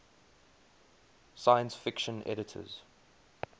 science fiction editors